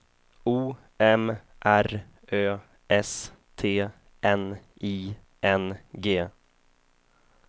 O M R Ö S T N I N G